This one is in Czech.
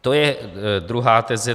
To je druhá teze.